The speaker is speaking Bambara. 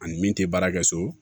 Ani min tɛ baara kɛ so